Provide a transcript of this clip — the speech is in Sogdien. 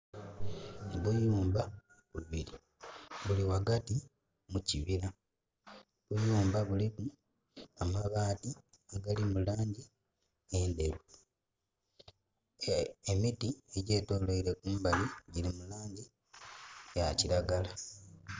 Obuyumba bubiri buli ghagati mu kibira. Obuyumba buliku amabati agali mulangi endheru, emiti egyetolweire kumbali dhiri mu langi eya kilagala.